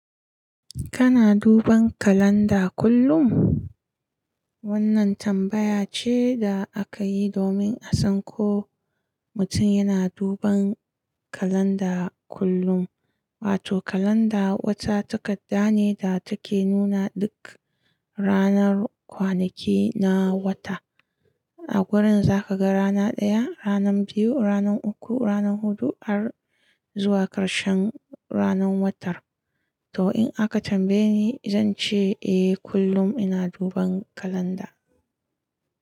Kana duban kalanda kullum? Wannan tambaya ce da aka yi domin a san ko mutum yana duban kalanda kullum. Wato kalanda wata takadda ne da take nuna duk ranar kwanaki na wata. A gurin za ka ga rana ɗaya, ranan biyu, ranan uku, ranan hudu, har zuwa karshen ranan wata. To in aka tambaye ni, zan ce eh kullum ina duban kalanda.